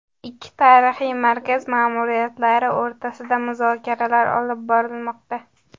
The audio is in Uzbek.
Ikki tarixiy markaz ma’muriyatlari o‘rtasida muzokaralar olib borilmoqda.